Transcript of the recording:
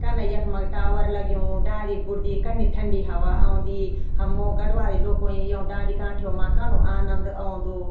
कन यखमक टावर लग्युं डाली बुर्दि कन्नी ठंडी हवा औंदी हमो गढ़वाली लोखोंई यों डांडी कांठियों मा कनु आनंद औंदु।